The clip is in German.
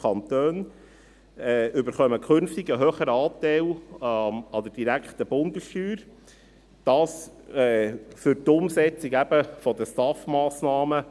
Die Kantone erhalten künftig einen höheren Anteil an der direkten Bundessteuer, dies eben für die Umsetzung der STAF-Massnahmen.